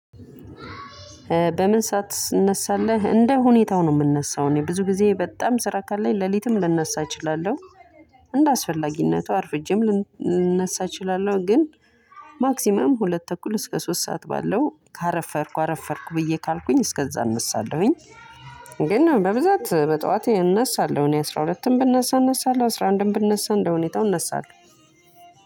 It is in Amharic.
በምን ሰዓት ትነሳለህ? እንደ ሁኔታው ነው የምነሳው እኔ ብዙ ጊዜ በጣም ስራ ካለኝ ሌሊትም ልነሳ እችላለሁ። እንደአስፈላጊነቱ አርፍጄም ልነሳ እችላለሁ ግን። ማክሲመም ሁለት ተኩል እስከ ሶስት ሰዓት ባለው ካረፈድኩ አረፈድኩ ብዬ ካልኩኝ እስከዛ እነሳለሁኝ። ግን በብዛት በጠዋት እነሳለሁ እኔ አስራ ሁለትም ብነሳ እነሳለሁ አስራ አንድም ብነሳ እንደ ሁኔታው እነሳለሁ።